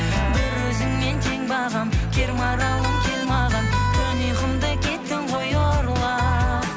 бір өзіңмен тең бағым кер маралым кел маған түн ұйқымды кеттің ғой ұрлап